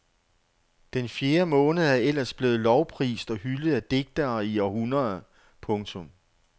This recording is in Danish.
Den fjerde måned er ellers blevet lovprist og hyldet af digtere i århundreder. punktum